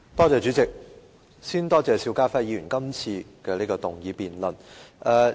主席，我首先多謝邵家輝議員提出這項議案辯論。